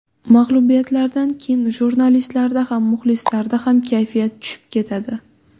Mag‘lubiyatlardan keyin jurnalistlarda ham, muxlislarda ham kayfiyat tushib ketadi.